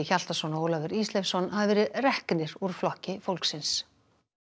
Hjaltason og Ólafur Ísleifsson hafa verið reknir úr Flokki fólksins